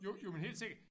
Jo jo men helt sikkert